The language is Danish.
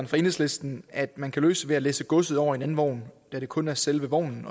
fra enhedslisten at man kan løse ved at læsse godset over i en anden vogn da det kun er selve vognen